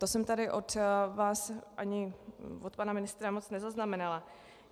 To jsem tady od vás ani od pana ministra moc nezaznamenala.